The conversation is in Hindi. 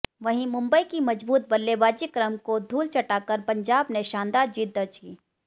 वहीं मुंबई की मजबूत बल्लेबाजी क्रम को धूल चटाकर पंजाब ने शानदार जीत दर्ज की